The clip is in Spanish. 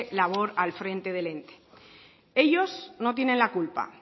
labor al frente del ente ellos no tienen la culpa